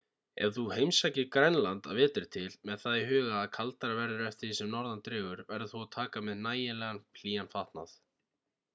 ef þú heimsækir grænland að vetri til með það í huga að kaldara verður eftir því sem norðar dregur verður þú að taka með nægilega hlýjan fatnað